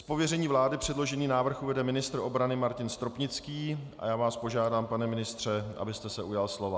Z pověření vlády předložený návrh uvede ministr obrany Martin Stropnický a já vás požádám, pane ministře, abyste se ujal slova.